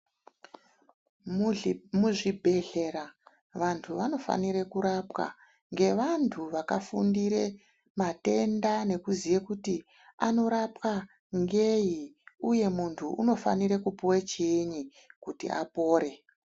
Muhli muzvibhedhlera vantu vanofanire kurapwà ngrvantu vakagundire matenda nekuziye kuti anorapwa ngei uye muntu unofanire kupuwe chiinyi kuti apore.